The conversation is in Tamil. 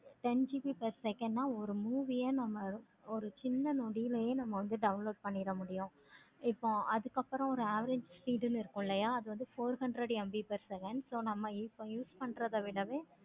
ten GB per second ஆஹ் ஒரு movie யா நம்ம ஒரு சீனா நொடிலவே நம்ம download பண்ணிக்க முடியும். இப்போ அதுக்கு அப்பறம் ஒரு average speed இருக்கும் இல்லையா அது வந்து four hundred MB per second so நம்ம இப்ப use பண்றத விட